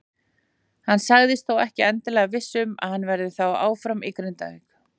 Hann sagðist þó ekki endilega viss um að hann verði þá áfram í Grindavík.